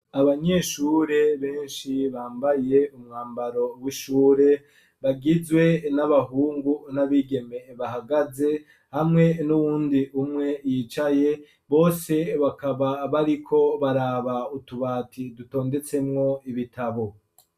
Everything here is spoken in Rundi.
Abanyeshure benshi bambaye umwambaro w'ishure, bagizwe n'abahungu n'abigeme bahagaze hamwe, n'uwundi umwe yicaye, bose bakaba bariko baraba utubati dutondetsemwo ibitabo.